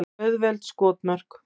Auðveld skotmörk.